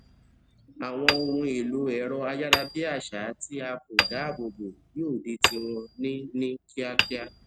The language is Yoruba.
àwọn ohun èlò èrọ ayárabíàṣá tí a kò dá ààbò bo yóò di tí wọn ní ní kíákíá